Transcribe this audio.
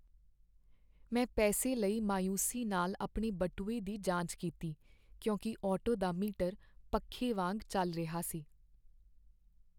ਮੈਂ ਪੈਸੇ ਲਈ ਮਾਯੂਸੀ ਨਾਲ ਆਪਣੇ ਬਟੂਏ ਦੀ ਜਾਂਚ ਕੀਤੀ ਕਿਉਂਕਿ ਆਟੋ ਦਾ ਮੀਟਰ ਪੱਖੇ ਵਾਂਗ ਚੱਲ ਰਿਹਾ ਸੀ।